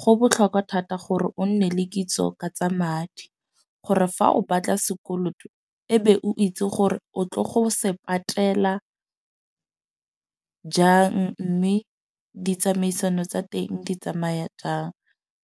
Go botlhokwa thata gore o nne le kitso ka tsa madi, gore fa o batla sekoloto ebe o itse gore o tle go se patela jang. Mme ditsamaisano tsa teng di tsamaya jang.